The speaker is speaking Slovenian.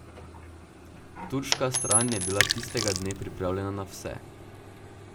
Turška stran je bila tistega dne pripravljena na vse.